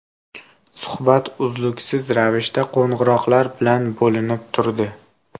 Suhbat uzluksiz ravishda qo‘ng‘iroqlar bilan bo‘linib turdi.